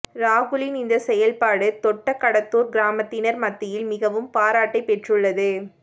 ராகுலின் இந்த செயல்பாடு தொட்ட கடத்துர் கிராமத்தினர் மத்தியில் மிகவும் பாராட்டை பெற்றுள்ளது